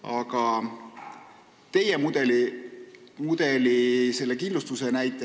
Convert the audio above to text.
Aga te rääkisite sellest kindlustuse mudelist.